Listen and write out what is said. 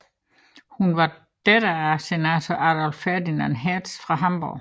Hun var datter af senator Adolph Ferdinand Hertz fra Hamborg